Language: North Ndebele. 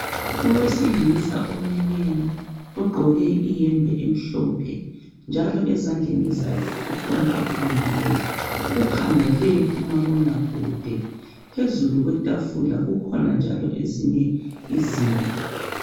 Owesilisa omileyo ogqoke iyembe emhlophe njalo ezandleni zakhe kukhona akubambileyo. Ukhangele umabona kude, phezulu kwetafula kukhona njalo ezinye izinto.